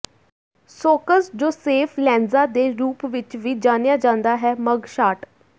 socks Joseph Lanza ਦੇ ਰੂਪ ਵਿੱਚ ਵੀ ਜਾਣਿਆ ਜਾਂਦਾ ਹੈ ਮੱਗ ਸ਼ਾਟ